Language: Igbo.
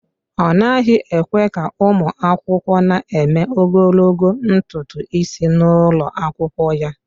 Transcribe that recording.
Ọ naghị ekwe ka ụmụ akwụkwọ na-eme ogologo ntutu isi n'ụlọ akwụkwọ ya.